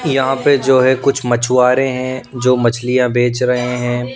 यहाँ पे जो है कुछ मछुआरे जो मछलियां बेच रहे हैं।